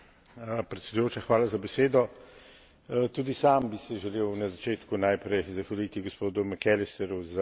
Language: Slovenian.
Tudi sam bi si želel na začetku najprej zahvaliti gospodu McAllisterju za odlično pripravljeno poročilo o napredku Srbije.